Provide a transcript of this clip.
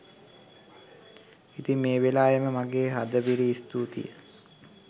ඉතින් මේ වෙලාවේ මම මගේ හදපිරි ස්තූතිය